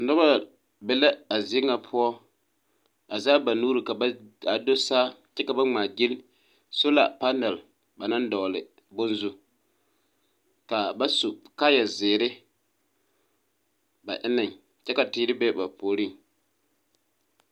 Noba be la azie ŋa poɔ a zɛge ba nuuri ka ba … ka do saa kyɛ ka ba ŋmaaguyili sola palɛle ba naŋ dɔgele bone zu. Ka ba su kaaya zeere ba enneŋ kyɛ ka teere be ba puoriŋ.